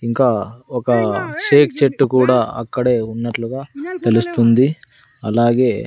ఇంకా ఒక షేక్ చెట్టు కూడా అక్కడే ఉన్నట్లుగా తెలుస్తుంది అలాగే.